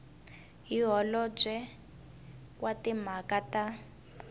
hi holobye wa timhaka ta